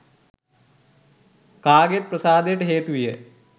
කාගෙත් ප්‍රසාදයට හේතු විය